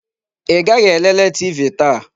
Ị gaghị elele TV taa?